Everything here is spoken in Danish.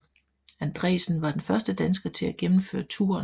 Andresen var den første dansker til at gennemføre touren